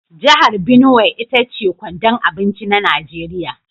Jihar Binuwai ita ce kwandon abinci na Nigeriya.